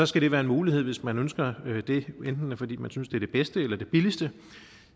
skal det være en mulighed hvis man ønsker det enten fordi man synes det er det bedste eller det billigste